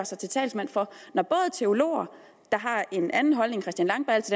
sig til talsmand for når både teologer der har en anden holdning